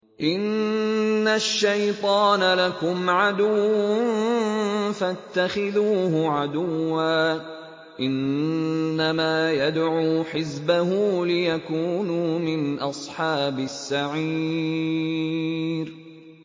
إِنَّ الشَّيْطَانَ لَكُمْ عَدُوٌّ فَاتَّخِذُوهُ عَدُوًّا ۚ إِنَّمَا يَدْعُو حِزْبَهُ لِيَكُونُوا مِنْ أَصْحَابِ السَّعِيرِ